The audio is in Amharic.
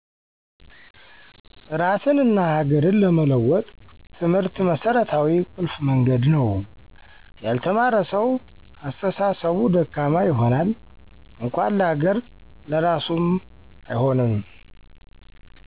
እራስንና ሀገር ለመለወጥ ትምህርት መስረታዊ ቁልፍ መንገድ ነው። ያልተማረ ሰው አስተሳሰቡ ደካማ ይሆናል እንኳን ለሀገር ለራሱም አይሆንም።